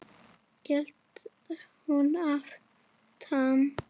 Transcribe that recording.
hélt hún áfram.